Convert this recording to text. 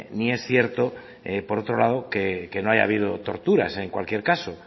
ni es cierto que por otro lado no haya habido torturas en cualquier caso